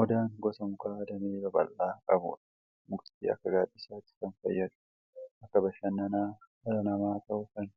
Odaan gosa mukaa damee babal'aa qabudha. Mukti akka gaaddisaatti kan fayyadu, bakka bashannana dhala namaa ta'uuf kan